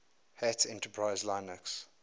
hat enterprise linux